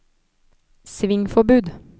svingforbud